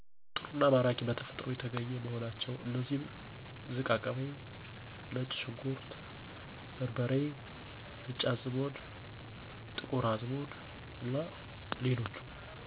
ጥሩ አና ማራኪ አና በተፈጥሮ የተገኙ መሆናቸው። አነሱም ዝቃቅቤ፣ ነጭ ሽንኩርት በርበሬ፣ ነጭ አዘሙድ፣ ጥቁር አዝሙድ አና ሌሎችም